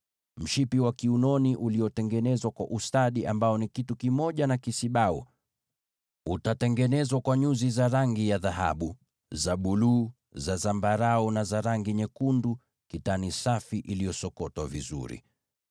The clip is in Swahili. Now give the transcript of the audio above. Mshipi wa kiunoni uliofumwa kwa ustadi utafanana nacho: utakuwa kitu kimoja na hicho kisibau, nao utengenezwe kwa dhahabu na nyuzi za rangi ya buluu, za zambarau, na nyekundu na kwa kitani iliyosokotwa vizuri.